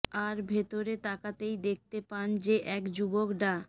আর ভেতরে তাকাতেই দেখতে পান যে এক যুবক ডা